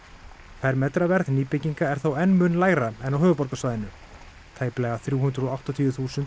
fermetraverð nýbygginga er þó enn mun lægra en á höfuðborgarsvæðinu tæplega þrjú hundruð og áttatíu þúsund á